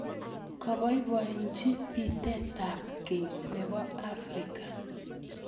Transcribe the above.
Kaboibochi pitetab keny nebo Africa.